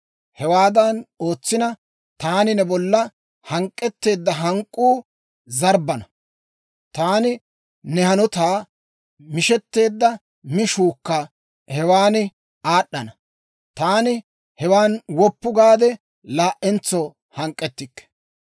Hewaadan ootsina, taani ne bolla hank'k'etteedda hank'k'uu zarbbana; taani ne hanotan mishetteedda mishuukka hewan aad'd'ana. Taani hewan woppu gaade, laa"entso hank'k'ettikke.